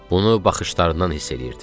Bunu baxışlarından hiss eləyirdim.